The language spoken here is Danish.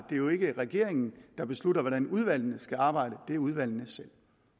jo ikke regeringen der beslutter hvordan udvalgene skal arbejde det gør udvalgene selv